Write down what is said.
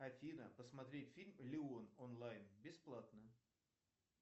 афина посмотреть фильм леон онлайн бесплатно